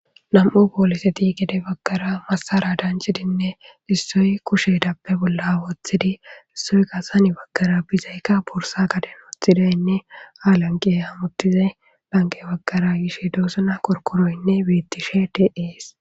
Nam'u poolise tigede bagkara massara danchidinne issoy kushe dappe bolla wothidi issoyqasani bagkara bizaykka bursa qade oothidaynne a lanqiyamottize lanqe bagkara gish doosna korkoroynne biittishe des